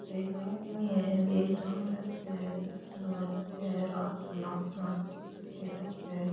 एक आदमी है एक टाबर राख्यो है चश्मों लगा राख्यो है रात में नापन वास्ते रख्यो है।